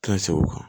Tilancɛ segu kan